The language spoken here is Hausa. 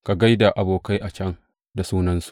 Ka gai da abokai a can da sunansu.